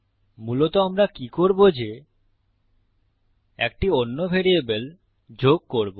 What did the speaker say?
মূলত আমরা কি করবো যে একটি অন্য ভ্যারিয়েবল যোগ করবো